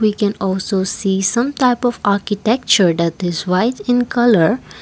we can also see some type of architecture that is white in colour.